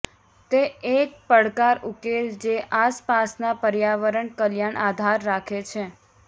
તે એક પડકાર ઉકેલ જે આસપાસના પર્યાવરણ કલ્યાણ આધાર રાખે છે